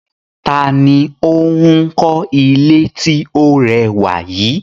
Ta ni ó ń kọ́ ilé tí ó rẹwà yìí?